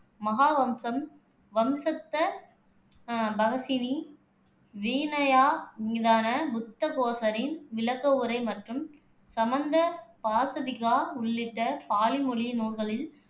மகாவம்சம், வம்சத்த அஹ் பகசினி வீனயா மீதான புத்தகோசரின் விளக்கவுரை மற்றும் சமந்த பாசதிகா உள்ளிட்ட பாளி மொழி நூல்களில்